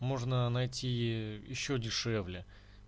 можно найти ещё дешевле